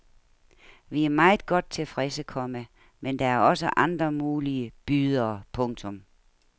Vi er meget godt tilfredse, komma men der er også andre mulige bydere. punktum